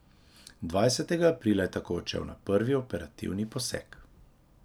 Dvajsetega aprila je tako odšel na prvi operativni poseg.